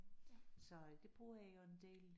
Så øh det bruger jeg jo en del